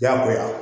Diyagoya